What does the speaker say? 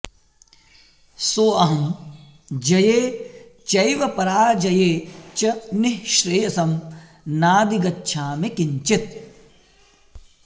सोऽहं जये चैव पराजये च निःश्रेयसं नाधिगच्छामि किंचित्